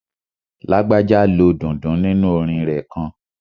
Lágbájá lo dundun nínu orin rẹ̀ kan